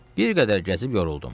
Bir qədər gəzib yoruldum.